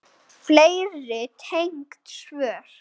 Fleiri tengd svör